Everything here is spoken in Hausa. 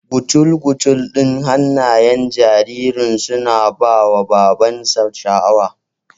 Gucul-gucul ɗin hannayen jaririn suna ba wa babansa sha'awa